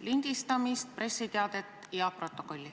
lindistamist, pressiteadet ja protokolli.